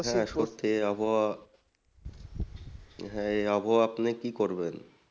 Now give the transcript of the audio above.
হ্যাঁ সত্যি এই আবহাওয়া হ্যাঁ এই আবহাওয়াই আপনি কি করবেন?